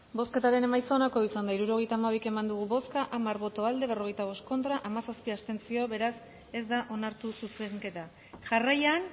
bozketaren emaitza onako izan da hirurogeita hamabi eman dugu bozka hamar boto aldekoa berrogeita bost contra hamazazpi abstentzio beraz ez da onartu zuzenketa jarraian